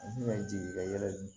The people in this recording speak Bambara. yɛlɛ